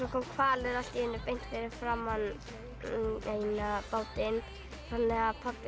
kom hvalur allt í einu beint fyrir framan bátinn þannig að pabbi